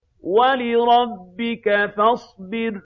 وَلِرَبِّكَ فَاصْبِرْ